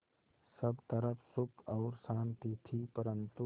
सब तरफ़ सुख और शांति थी परन्तु